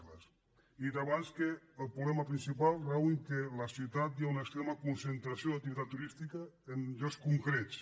he dit abans que el problema principal rau en el fet que a la ciutat hi ha una extrema concentració d’activitat turística en llocs concrets